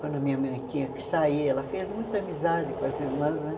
Quando a minha mãe tinha que sair, ela fez muita amizade com as irmãs, né?